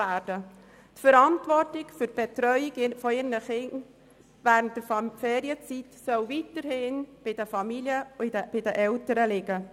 Die Verantwortung für die Betreuung ihrer Kinder während der Ferienzeit soll weiterhin bei den Familien und den Eltern liegen.